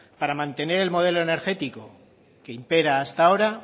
para mantener el modelo energético que impera hasta ahora